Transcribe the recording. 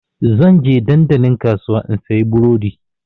Zan je dandalin kasuwa in sayi burodi.